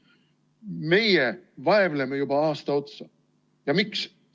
Meie vaevleme juba aasta otsa, ja miks?